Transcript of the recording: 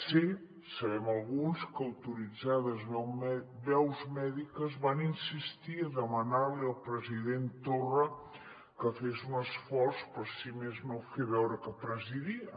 sé sabem alguns que autoritzades veus mèdiques van insistir a demanar li al president torra que fes un esforç per si més no fer veure que presidia